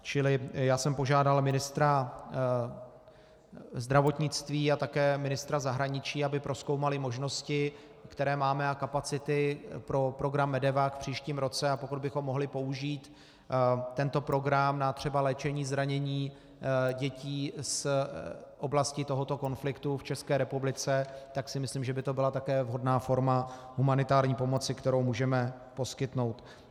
Čili já jsem požádal ministra zdravotnictví a také ministra zahraničí, aby prozkoumali možnosti, které máme, a kapacity pro program MEDEVAC v příštím roce, a pokud bychom mohli použít tento program na třeba léčení zranění dětí z oblasti tohoto konfliktu v České republice, tak si myslím, že by to byla také vhodná forma humanitární pomoci, kterou můžeme poskytnout.